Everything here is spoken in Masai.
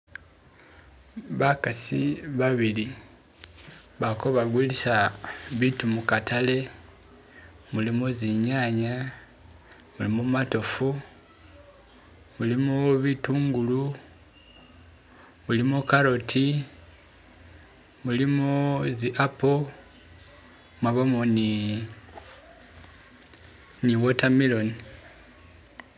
Bakasi babili baliko bagulisa bitu mukatale mulimo zinyanya, mulimo matofu mulimo bitungulu mulimo carrot mulimo z'apple mwabamo ni ni watermelon